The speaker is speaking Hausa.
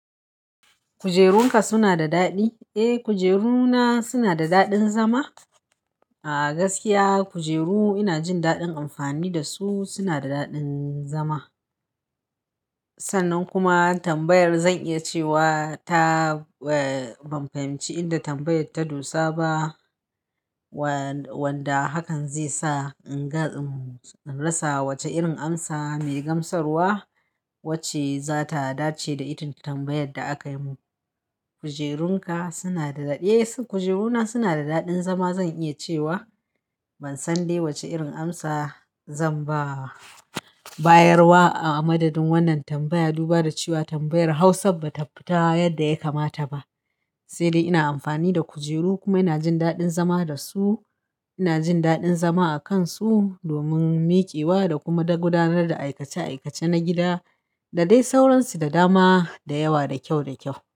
Kujerun ka su na da daɗi? Eh, kujeruna su na da daɗin zama. A gaskiya kujeru ina jin daɗin amfani da su, suna da daɗin zama. Sannan kuma tambayar zan iya cewa ta, eh, ban fahimci inda tambayar ta dosa ba. Wanda hakan zai sa in gane, in rasa wace irin amsa mai gamsarwa wacce za ta dace da itin tambayar da aka yi mun. Kujerun ka suna da daɗi? Eh, kujeru na suna da daɗin zama zan iya cewa. Ban san dai wace irin amsa zan ba wa. Bayarwa a madadin wannan tambaya, du ba da cewa tambayar Hausa ba ta fita yadda ya kamata ba. Sai dai ina amfani da kujeru kuma ina jin daɗin zama da su. Ina jin daɗin zama a kan su domin miƙewa da kuma na gudanar da aikace aikace na gida. Da dai sauransu da dama, da yawa, da kyau da kyau.